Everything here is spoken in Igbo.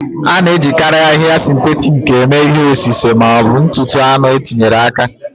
A na-ejikarị ahịhịa sịntetik eme ihe osise ma ọ bụ ntụtụ anụ e tinyere aka.